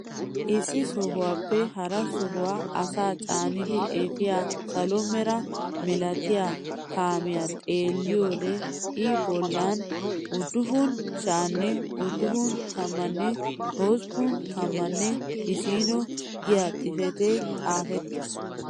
Issi sohuwaappe hara sohuwaa asaa caanidi efiyaa salo mera milatiyaa kaamiyaa xeelliyoode i bollan uduppun sha'anne uduppun tammanne hosppun tammanne issiino giyaa xifatee xaafettiis.